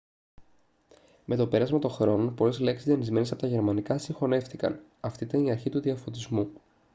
με το πέρασμα των χρόνων πολλές λέξεις δανεισμένες από τα γερμανικά συγχωνεύτηκαν αυτή ήταν η αρχή του διαφωτισμού